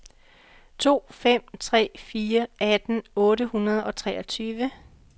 to fem tre fire atten otte hundrede og treogtyve